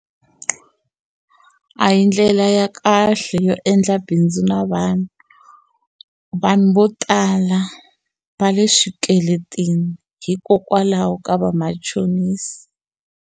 A hi ndlela ya kahle yo endla bindzu na vanhu vanhu vo tala va le swikweletini hikokwalaho ka vamachonisi.